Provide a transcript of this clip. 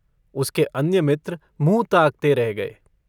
उसके अन्य मित्र मुँह ताकते रह गये।